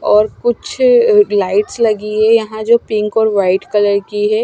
और कुछ लाइट्स लगी हैं यहां जो पिंक और वाइट कलर की है।